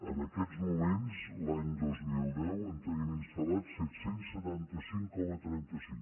en aquests moments l’any dos mil deu en tenim instal·lats set cents i setanta cinc coma trenta cinc